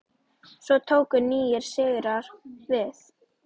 Svo tóku nýir sigrar við.